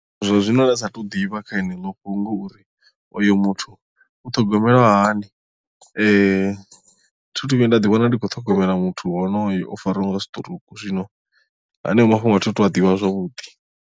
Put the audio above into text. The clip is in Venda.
Zwa zwino nda sa tou ḓivha kha heneḽo fhungo uri oyo muthu u ṱhogomelwa hani thi thu vhuya nda ḓiwana ndi khou ṱhogomela muthu honoyo o fariwaho nga sitirouku zwino haneyo mafhungo a thi tu a ḓivha zwavhuḓI.